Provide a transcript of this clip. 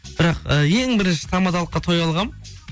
бірақ і ең бірінші тамадалыққа той алғанмын